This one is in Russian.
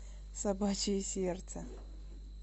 собачье сердце